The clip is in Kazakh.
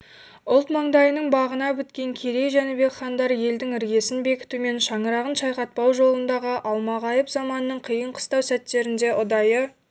ұлт маңдайының бағына біткен керей жәнібек хандар елдің іргесін бекітумен шаңырағын шайқатпау жолындағы алмағайып заманның қиын-қыстау сәттерінде ұдайы